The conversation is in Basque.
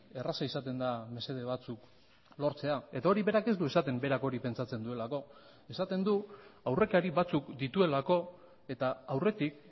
erraza izaten da mesede batzuk lortzea eta hori berak ez du esaten berak hori pentsatzen duelako esaten du aurrekari batzuk dituelako eta aurretik